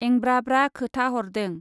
एंब्रा ब्रा खोथा हरदों।